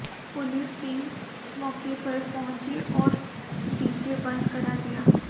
police team मौके पर पहुंची और डीजे बंद करा दिया